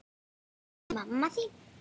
spurði mamma þín.